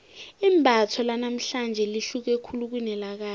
imbatho lanamhlanje lihluke khulu kunelakade